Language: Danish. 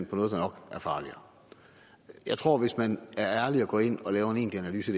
på noget der nok er farligere jeg tror at hvis man er ærlig og går ind og laver en enkel analyse